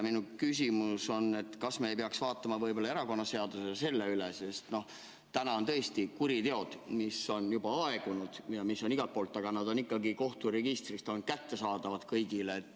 Minu küsimus on, et kas me ei peaks erakonnaseadust üle vaatama, sest täna on tõesti nii, et kuriteod, mis on juba aegunud ja mis on igalt poolt, on ikkagi kohturegistrist kõigile kättesaadavad.